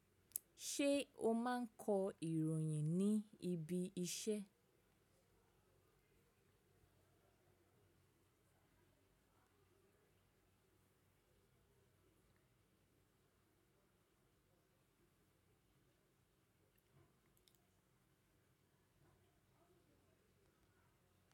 Ṣé o máa ń kọ ìròyìn ní ibi iṣẹ́?